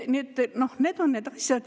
Nii et need on need asjad.